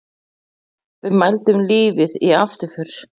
Við mældum lífið í afturför.